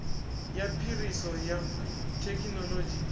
ya phiriso ya thekinolodzhi u